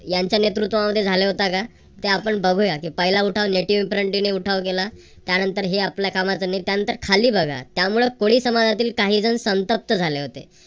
यांच्या नेतृत्वामध्ये झाला होता का ते आपण बघू पहिला उठाव native infancy ने उठाव केला. त्यानंतर हे आपल्या कामाचं नाही त्यानंतर खाली बघा त्यामुळे कोळी समाजातील काही जण संतप्त झाले होते.